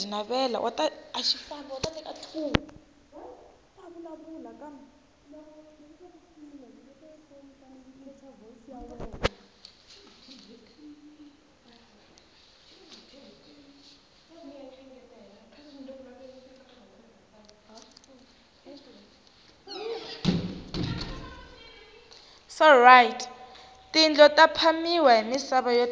tindlo ta phamiwa hi misava ati tiyanga